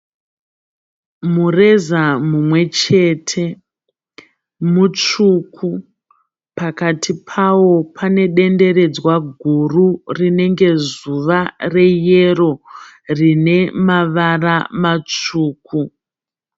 Mureza mumwechete mutsvuku. Pakati pawo pane denderedzwa guru rinenge zuva reyero , rine mavara matsvuku.